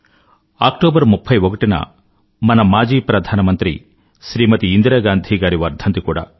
October 31న మన మాజీ ప్రధానమంత్రి శ్రీమతి ఇందిరాగాంధీ గారి వర్ధంతి కూడా